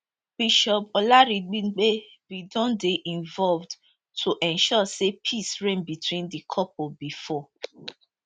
bishop olaribigbe bin don dey involved to ensure say peace reign between di couple bifor